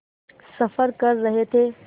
सफ़र कर रहे थे